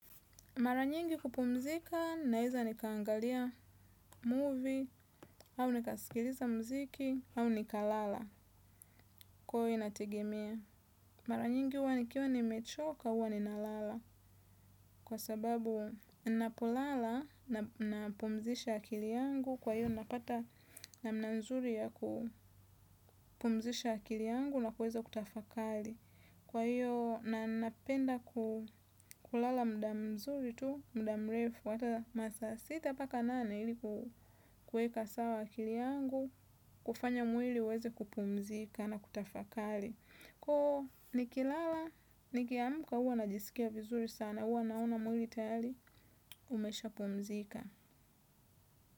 Maranyingi kupumzika, naeza nikaangalia movie, au nika skiliza mziki, au nikalala, kuhu inategemea. Maranyingi uwa nikiwa nimechoka, uwa ninalala, kwa sababu napolala napumzisha akili yangu, kwa hiyo napata namna nzuri ya kupumzisha akili yangu na kuweza kutafakali. Kwa hiyo ninapenda kulala muda mzuri tu, muda mrefu, hata masaa sita mpaka nane ili ku kueka sawa akili yangu, kufanya mwili uweze kupumzika na kutafakali. Kwa nikilala, nikiamka huwa najisikia vizuri sana, huwa naona mwili tayari, umesha pumzika.